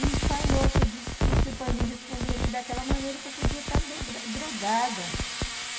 E falou que disse que isso para mim responder ele daquela maneira que eu podia está dro drogada